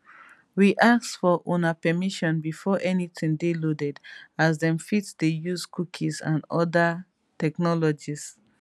we ask for una permission before anytin dey loaded as dem fit dey use cookies and oda technologies